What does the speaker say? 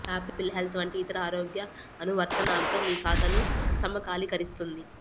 apple Health వంటి ఇతర ఆరోగ్య అనువర్తనాలతో మీ ఖాతాను సమకాలీకరిస్తుంది